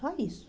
Só isso.